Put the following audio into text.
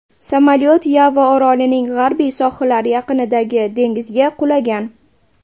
Samolyot Yava orolining g‘arbiy sohillari yaqinidagi dengizga qulagan.